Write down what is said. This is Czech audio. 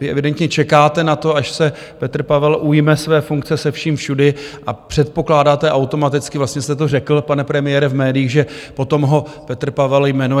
Vy evidentně čekáte na to, až se Petr Pavel ujme své funkce se vším všudy, a předpokládáte automaticky - vlastně jste to řekl, pane premiére, v médiích - že potom ho Petr Pavel jmenuje.